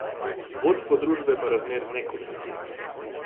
Vodstvo družbe pa razmer ne komentira.